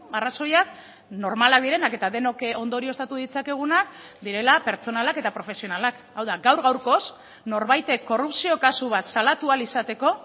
arrazoiak normalak direnak eta denok ondorioztatu ditzakegunak direla pertsonalak eta profesionalak hau da gaur gaurkoz norbaitek korrupzio kasu bat salatu ahal izateko